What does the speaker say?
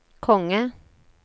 konge